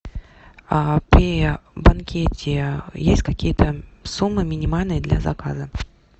при банкете есть какие то суммы минимальные для заказа